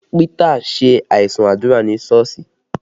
Pita ṣe aisun àdúrà ní Sọ́ọ̀sì